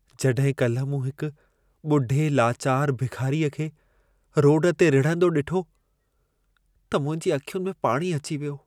जॾहिं काल्हि मूं हिक ॿुढे लाचार भिखारीअ खे रोड ते रिढ़ंदो ॾिठो, त मुंहिंजी अखियुनि में पाणी अची वियो।